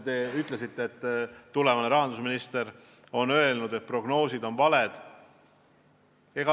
Te ütlesite, et tulevane rahandusminister on öelnud, et prognoosid on valed.